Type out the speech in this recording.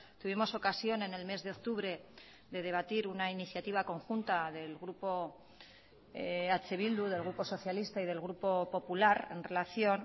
tuvimos ocasión en el mes de octubre de debatir una iniciativa conjunta del grupo eh bildu del grupo socialista y del grupo popular en relación